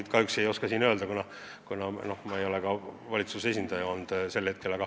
Ma kahjuks ei oska seda öelda, kuna ma ei ole valitsuse esindaja.